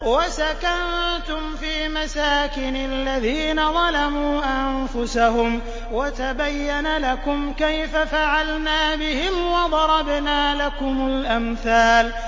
وَسَكَنتُمْ فِي مَسَاكِنِ الَّذِينَ ظَلَمُوا أَنفُسَهُمْ وَتَبَيَّنَ لَكُمْ كَيْفَ فَعَلْنَا بِهِمْ وَضَرَبْنَا لَكُمُ الْأَمْثَالَ